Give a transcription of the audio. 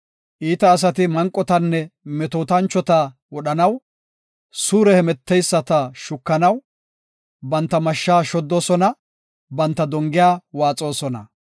Iita asati manqotanne metootanchota wodhanaw, suure hemeteyisata shukanaw, banta mashsha shoddoosona; banta dongiya waaxoosona.